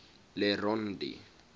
le rond d